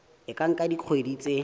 e ka nka dikgwedi tse